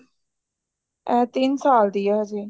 ਇਹ ਤਿੰਨ ਸਾਲ ਦੀ ਆ ਹਜੇ